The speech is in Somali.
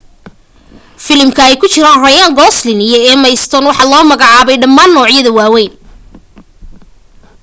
filimka ay ku jiraan ryan gosling iyo emma stone waxa la soo magaacaabay dhammaan noocyada waawayn